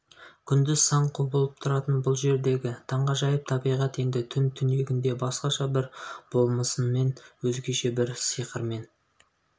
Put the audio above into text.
күндіз сан құбылып тұратын бұл жердегі таңғажайып табиғат енді түн түнегінде басқаша бір болмысымен өзгеше бір сиқырымен